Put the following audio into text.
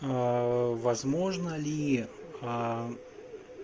возможно ли